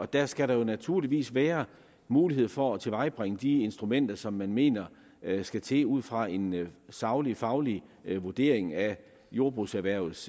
der skal der jo naturligvis være mulighed for at tilvejebringe de instrumenter som man mener skal til ud fra en saglig og faglig vurdering af jordbrugserhvervets